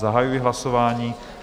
Zahajuji hlasování.